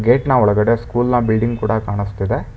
ಗೇಟ್ನ ಒಳಗಡೆ ಸ್ಕೂಲ್ನ ಬಿಲ್ಡಿಂಗ್ ಕೂಡ ಕಾಣಿಸ್ತಿದೆ.